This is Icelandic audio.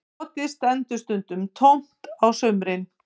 Kotið stendur stundum tómt á sumrin